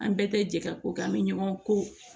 An bɛɛ tɛ jɛ ka ko kɛ an bɛ ɲɔgɔn ko